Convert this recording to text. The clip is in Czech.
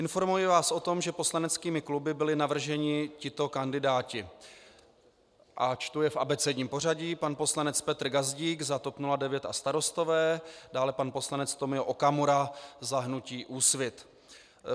Informuji vás o tom, že poslaneckými kluby byli navrženi tito kandidáti - a čtu je v abecedním pořadí: pan poslanec Petr Gazdík za TOP 09 a Starostové, dále pan poslanec Tomio Okamura za hnutí Úsvit.